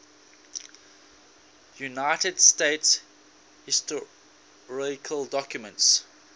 united states historical documents